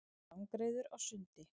Langreyður á sundi.